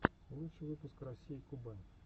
лучший выпуск россии кубань